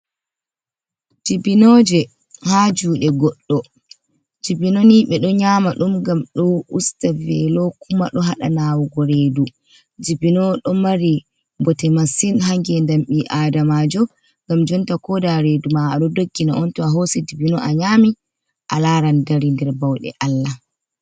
Dibinoje ha jude goɗɗo Dibino ni ɓe ɗo nyama ɗum ngam ɗo usta velo kuma ɗo haɗa nawugo redu Dibino ɗo mari bote masin ha ngendam ɓi adamajo ngam jonta koda redu ma a ɗo doggina on to a hosi Dibino a nyami a laran dari nder bauɗe Allah.